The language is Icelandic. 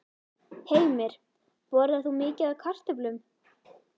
Heimir: Borðar þú mikið af kartöflum?